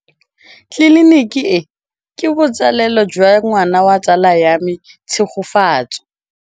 Tleliniki e, ke botsalêlô jwa ngwana wa tsala ya me Tshegofatso.